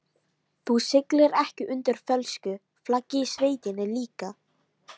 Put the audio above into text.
Þú siglir ekki undir fölsku flaggi í sveitinni líka?